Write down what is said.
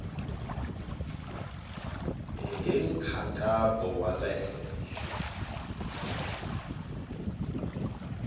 hi nkhaqato wa le henhla